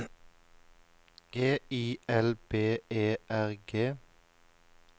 G I L B E R G